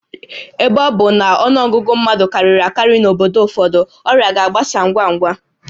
Ebe ọ bụ na ọnụ ọgụgụ mmadụ karịrị akarị n'obodo ụfọdụ, ọrịa ga-agbasa ngwa ngwa